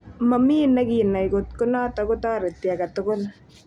Momi ne kinai kot ko notok kotoreti age tugul.